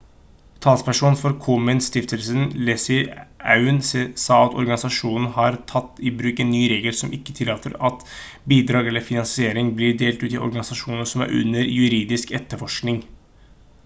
talsperson for komen-stiftelsen leslie aun sa at organisasjonen har tatt i bruk en ny regel som ikke tillater at bidrag eller finansiering blir delt ut til organisasjoner som er under juridisk etterforskning